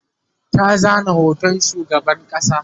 ta zana hoton shugaban ƙasa